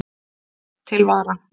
Til vara